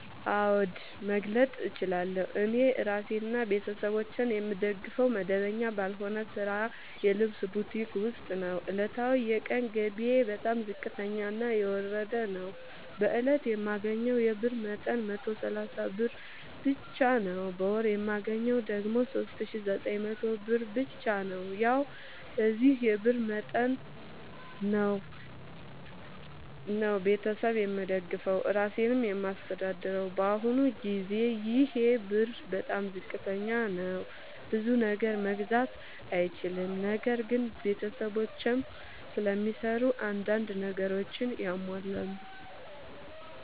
አዎድ መግለጥ እችላለሁ። እኔ እራሴንና ቤተሠቦቼን የምደግፈዉ መደበኛ ባልሆነ ስራ የልብስ ቡቲክ ዉስጥ ነዉ። ዕለታዊ የቀን ገቢየ በጣም ዝቅተኛና የወረደ ነዉ። በእለት የማገኘዉ የብር መጠን 130 ብር ብቻ ነዉ። በወር የማገኘዉ ደግሞ 3900 ብር ብቻ ነዉ። ያዉ በዚህ የብር መጠን መጠን ነዉ። ቤተሠብ የምደግፈዉ እራሴንም የማስተዳድረዉ በአሁኑ ጊዜ ይሄ ብር በጣም ዝቅተኛ ነዉ። ብዙ ነገር መግዛት አይችልም። ነገር ግን ቤተሰቦቼም ስለሚሰሩ አንዳንድ ነገሮችን ያሟላሉ።